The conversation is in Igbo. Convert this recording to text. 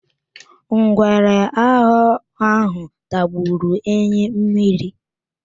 Ngwere aghọ ahụ tagburu enyi mmiri.